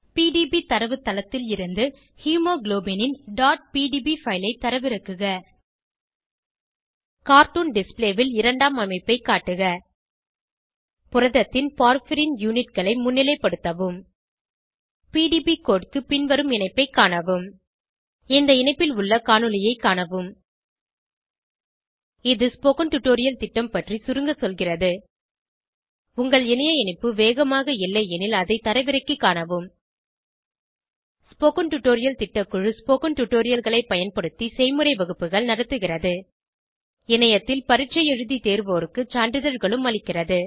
PDB தரவுத்தளத்திலிருந்து human haemoglobin ன் pdb file ஐ தரவிறக்குக கார்ட்டூன் டிஸ்ப்ளே ல் இரண்டாம் அமைப்பை காட்டுக புரதத்தின் போர்பைரின் unitகளை முன்னிலைப்படுத்தவும் பிடிபி கோடு க்கு பின்வரும் இணைப்பைக் காணவும் இந்த இணைப்பில் உள்ள காணொளியைக் காணவும் httpspoken tutorialorgWhat is a Spoken Tutorial இது ஸ்போகன் டுடோரியல் திட்டம் பற்றி சுருங்க சொல்கிறது உங்கள் இணைய இணைப்பு வேகமாக இல்லையெனில் அதை தரவிறக்கிக் காணவும் ஸ்போகன் டுடோரியல் திட்டக்குழு ஸ்போகன் டுடோரியல்களைப் பயன்படுத்தி செய்முறை வகுப்புகள் நடத்துகிறது இணையத்தில் பரீட்சை எழுதி தேர்வோருக்கு சான்றிதழ்களும் அளிக்கிறது